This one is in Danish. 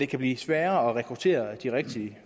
kan blive sværere at rekruttere de rigtige